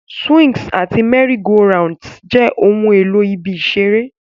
Swings àti merry-go-rounds jẹ́ ohun èlò ibi ìṣeré.